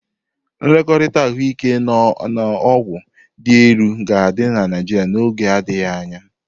Nlekọta ahụike na ọgwụ dị elu ga-adị na Naịjirịa n'oge adịghị anya.